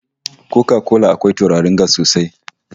Koka kola akwai tururin gas sosai